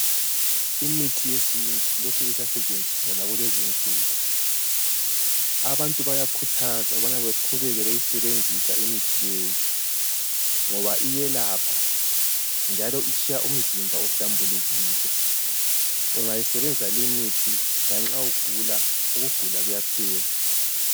Imithi yesintu lokhe isasetshenziswa lakulezi nsuku. Abantu bayakhuthazwa ukubana baqhubeke beyisebenzisa imithi leyi. Ngoba iyelapha njalo itshiya umzimba uhlambulukile. Ungayisebenzisa limithi lanxa ugula, ukugula kuyaphela.